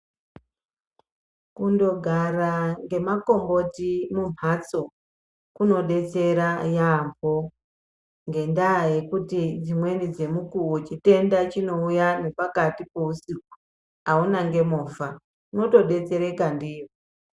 Kundogara ngemakomboti mumhatso kunobetsera yeyambo ngendaa yekuti dzimweni dzemukuwo chitenda chinouya ngepakati peusiku, auna nemovha, unotodetsereka ndiyo.